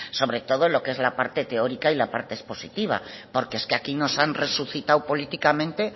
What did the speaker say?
sobre todo lo que es la parte teórica y la parte expositiva porque es que aquí nos han resucitado políticamente